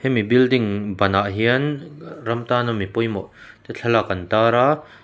hemi building banah hian ram tan a mi pawimawh te thlalak an tar a.